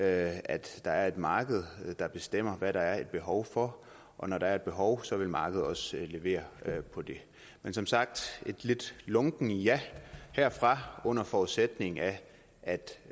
at der er et marked der bestemmer hvad der er behov for og når der er et behov vil markedet også levere på det men som sagt et lidt lunkent ja herfra under forudsætning af at